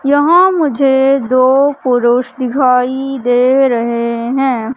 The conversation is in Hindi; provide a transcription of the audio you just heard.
यहां मुझे दो पुरुष दिखाई दे रहे हैं।